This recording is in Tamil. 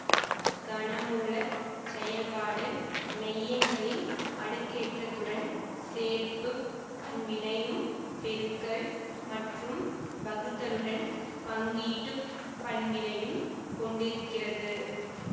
கனமூலச் செயல்பாடு மெய்யெண்களில் அடுக்கேற்றத்துடன் சேர்ப்புப் பண்பிணையும் பெருக்கல் மற்றும் வகுத்தலுடன் பங்கீட்டுப் பண்பினையும் கொண்டிருக்கிறது